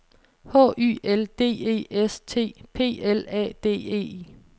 H Y L D E S T P L A D E